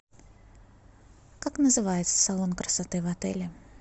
как называется салон красоты в отеле